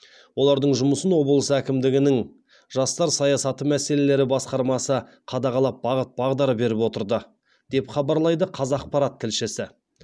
олардың жұмысын облыс әкімдігінің жастар саясаты мәселелері басқармасы қадағалап бағыт бағдар беріп отырды деп хабарлайды қазақпарат тілшісі